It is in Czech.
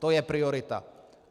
To je priorita.